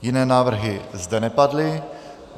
Jiné návrhy zde nepadly.